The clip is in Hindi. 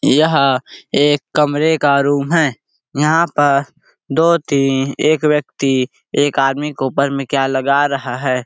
यह एक कमरे का रूम हैं यहाँ पर दो तीन एक व्यक्ति एक आदमी के ऊपर मे क्या लगा रहा हैं।